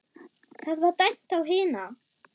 Það var dæmt á hina!